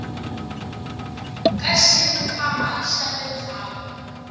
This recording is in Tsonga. ka xikhwama xa le ndzhaku